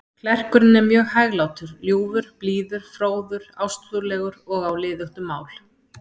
Klerkurinn er mjög hæglátur, ljúfur, blíður, fróður, ástúðlegur og á liðugt um mál.